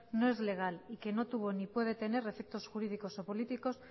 no es legal y que no tuvo ni puede tener efectos jurídicos o políticos